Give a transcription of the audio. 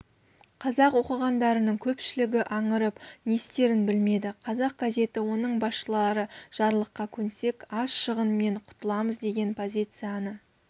қазақ оқығандарының көпшілігі аңырып не істерін білмеді қазақ газеті оның басшылары жарлыққа көнсек аз шығынмен құтыламыз деген позицияны